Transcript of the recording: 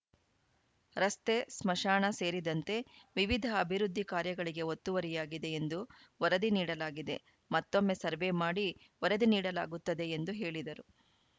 ರಸ್ತೆ ಸ್ಮಶಾನ ಸೇರಿದಂತೆ ವಿವಿಧ ಅಭಿವೃದ್ಧಿ ಕಾರ್ಯಗಳಿಗೆ ಒತ್ತುವರಿಯಾಗಿದೆ ಎಂದು ವರದಿ ನೀಡಲಾಗಿದೆ ಮತ್ತೊಮ್ಮೆ ಸರ್ವೆ ಮಾಡಿ ವರದಿ ನೀಡಲಾಗುತ್ತದೆ ಎಂದು ಹೇಳಿದರು